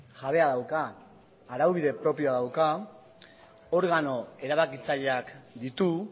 jabea dauka araubide propioa dauka organo erabakitzaileak ditu